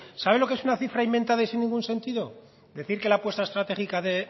sabe lo que es una cifra inventada y sin ningún sentido decir que la apuesta estratégica de